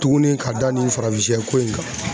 Tugunni ka da nin farafin shɛ ko in kan.